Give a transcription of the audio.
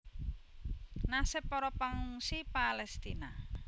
Nasib para pangungsi Palestina